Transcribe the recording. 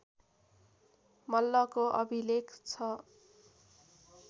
मल्लको अभिलेख छ